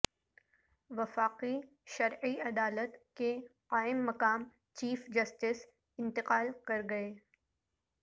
وفاقی شرعی عدالت کے قائم مقام چیف جسٹس انتقال کر گئے